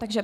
Ne.